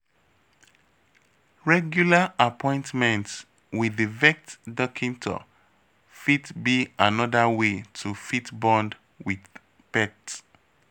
Regular appointment with di vet doctor fit be anoda wey to fit bond with pet